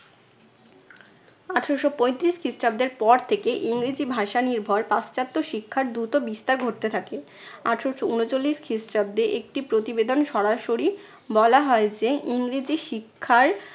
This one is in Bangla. আঠারোশো পঁয়ত্রিশ খ্রিস্টাব্দের পর থেকে ইংরেজি ভাষা নির্ভর পাশ্চাত্য শিক্ষার দ্রুত বিস্তার ঘটতে থাকে। আঠারশো ঊনচল্লিশ খ্রিস্টাব্দে একটি প্রতিবেদন সরাসরি বলা হয় যে ইংরেজি শিক্ষার